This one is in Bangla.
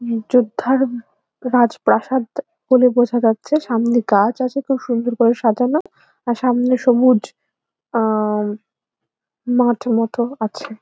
যোদ্ধার রাজপ্রাসাদ বলে বোঝা যাচ্ছে সামনে গাছ আছে খুব সুন্দর করে সাজানো আর সামনের সবুজ আ মাঠ মতন আছে।